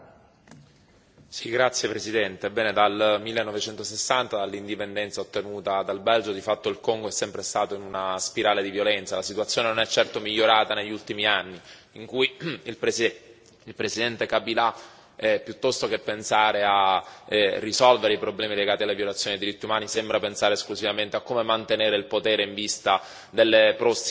Signor Presidente, onorevoli colleghi, ebbene dal 1960, dall'indipendenza ottenuta dal Belgio, di fatto il Congo è sempre stato in una spirale di violenza. La situazione non è certo migliorata negli ultimi anni, in cui il Presidente Kabila, piuttosto che pensare a risolvere i problemi legati alla violazione dei diritti umani, sembra pensare esclusivamente a come mantenere il potere in vista delle prossime elezioni.